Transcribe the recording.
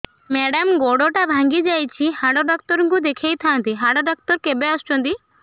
madam ଗୋଡ ଟା ଭାଙ୍ଗି ଯାଇଛି ହାଡ ଡକ୍ଟର ଙ୍କୁ ଦେଖାଇ ଥାଆନ୍ତି ହାଡ ଡକ୍ଟର କେବେ ଆସୁଛନ୍ତି